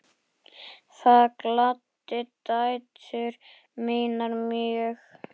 Það gladdi dætur mínar mjög.